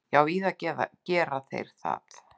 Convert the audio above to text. Já, víða gera þeir það.